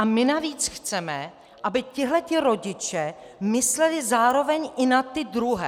A my navíc chceme, aby tihle rodiče mysleli zároveň i na ty druhé.